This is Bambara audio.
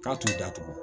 K'a t'u datugu